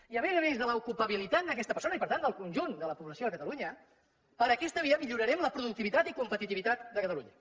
i a més a més de l’ocupabilitat d’aquesta persona i per tant del conjunt de la població de catalunya per aquesta via millorarem la productivitat i competitivitat de catalunya